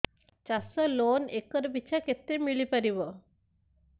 ଚାଷ loan acre ପିଛା କେତେ ମିଳି ପାରିବ